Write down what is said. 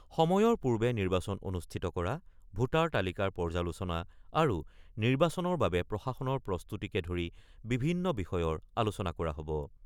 সময়ৰ পূৰ্বে নিৰ্বাচন অনুষ্ঠিত কৰা, ভোটাৰ তালিকাৰ পৰ্যালোচনা আৰু নিৰ্বাচনৰ বাবে প্ৰশাসনৰ প্ৰস্তুতিকে ধৰি বিভিন্ন বিষয়ৰ আলোচনা কৰা হ'ব।